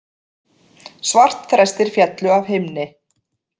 Svartþrestir féllu af himni